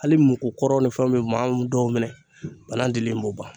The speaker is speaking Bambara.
Hali mugu kɔrɔw ni fɛnw be maa mun dɔw minɛ banan dili b'o ban.